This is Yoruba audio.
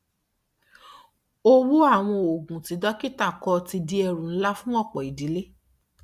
owó àwọn oògùn tí dókítà kọ ti di ẹrù ńlá fún ọpọ ìdílé